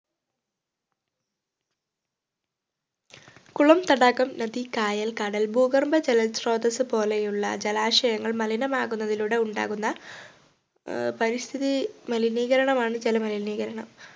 കുളം തടാകം നദി കായൽ കടൽ ഭൂഗർഭ ജലസ്രോതസ്സു പോലെയുള്ള ജലാശങ്ങൾ മലിനമാകുന്നതിലൂടെ ഉണ്ടാകുന്ന ആഹ് പരിസ്ഥിതി മലിനീകരണമാണ് ജലമലിനീകരണം